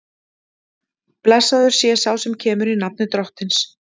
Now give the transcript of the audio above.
Blessaður sé sá sem kemur, í nafni Drottins!